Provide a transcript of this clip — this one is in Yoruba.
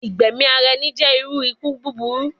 Igbẹmi ara ẹni jẹ iru iku buburu